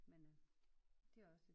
Men øh det er også